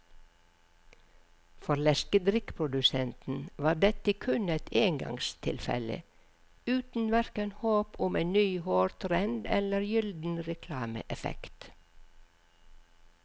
For leskedrikkprodusenten var dette kun et engangstilfelle, uten hverken håp om en ny hårtrend eller gylden reklameeffekt.